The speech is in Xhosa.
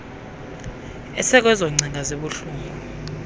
esekwezo ngcinga zibuhlungu